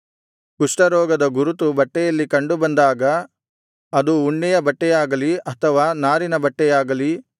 ಕುಷ್ಠರೋಗದ ಗುರುತು ಬಟ್ಟೆಯಲ್ಲಿ ಕಂಡು ಬಂದಾಗ ಅದು ಉಣ್ಣೆಯ ಬಟ್ಟೆಯಾಗಲಿ ಅಥವಾ ನಾರಿನ ಬಟ್ಟೆಯಾಗಲಿ